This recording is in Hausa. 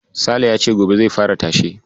Sale ya ce gobe zai fara tashe.